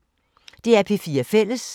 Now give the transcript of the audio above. DR P4 Fælles